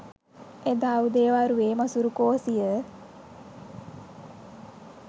එදා උදේ වරුවේ මසුරු කෝසිය